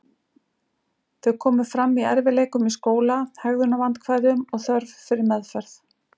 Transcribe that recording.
Þau komu fram í erfiðleikum í skóla, hegðunarvandkvæðum og þörf fyrir meðferð.